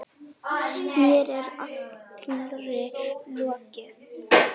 Mér er allri lokið.